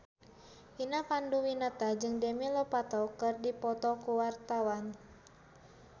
Vina Panduwinata jeung Demi Lovato keur dipoto ku wartawan